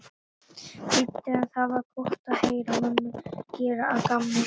þýddi en það var gott að heyra mömmu gera að gamni sínu.